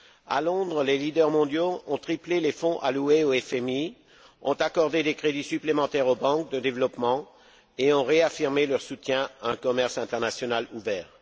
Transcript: À Londres, les leaders mondiaux ont triplé les fonds alloués au FMI, ont accordé des crédits supplémentaires aux banques de développement et ont réaffirmé leur soutien à un commerce international ouvert.